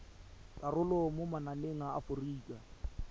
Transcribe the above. karolo mo mananeng a aforika